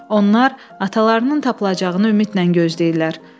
Onlar atalarının tapılacağını ümidlə gözləyirlər.